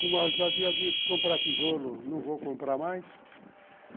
Como eu já havia dito, comprar tijolo não vou comprar mais.